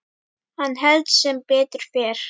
Hann hélt sem betur fer.